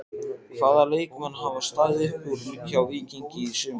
Hvaða leikmenn hafa staðið upp úr hjá Víkingi í sumar?